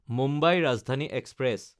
Mumbai Rajdhani express